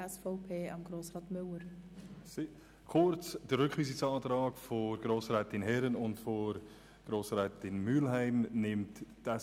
Die SVP-Fraktion nimmt den Rückweisungsantrag der Grossrätinnen Herren und Mühlheim an.